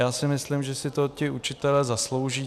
Já si myslím, že si to ti učitelé zaslouží.